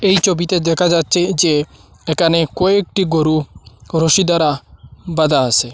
এই ছবিতে দেখা যাচ্ছে যে এখানে কয়েকটি গরু রশি দ্বারা বাধা আসে ।